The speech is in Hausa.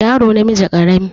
yaro namiji karami